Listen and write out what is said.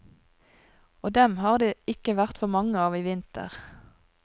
Og dem har det ikke vært for mange av i vinter.